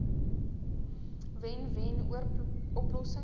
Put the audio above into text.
wen wen oplossings